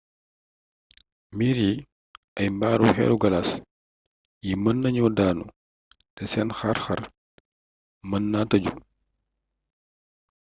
miir yi ak mbaari xeeri galaas yi mën nañu daanu te seen xar-xar mën naa tëju